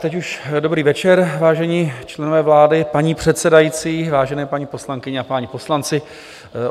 Teď už dobrý večer, vážení členové vlády, paní předsedající, vážené paní poslankyně a páni poslanci.